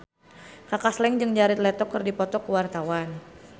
Kaka Slank jeung Jared Leto keur dipoto ku wartawan